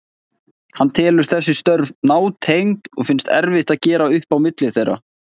Hann telur þessi störf nátengd og finnst erfitt að gera upp á milli þeirra.